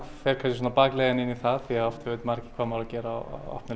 fer kannski bakleiðina inn í það því oft veit ekki hvað það á að gera á opnum